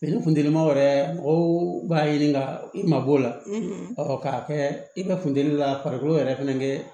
ni funtenima yɛrɛ mɔgɔw b'a ɲini ka i ma b'o la k'a kɛ i be funteni la farikolo yɛrɛ fɛnɛ kɛ